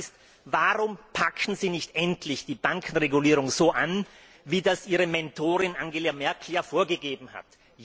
Die Frage ist Warum packen Sie nicht endlich die Bankenregulierung so an, wie es Ihre Mentorin Angela Merkel vorgegeben hat?